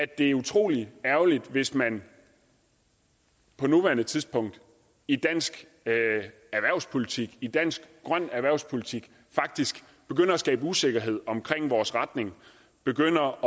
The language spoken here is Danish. det er utrolig ærgerligt hvis man på nuværende tidspunkt i dansk erhvervspolitik i dansk grøn erhvervspolitik faktisk begynder at skabe usikkerhed omkring vores retning begynder